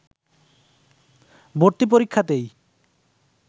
ভর্তি পরীক্ষাতেই